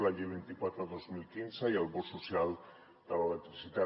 la llei vint quatre dos mil quinze i el bo social de l’electricitat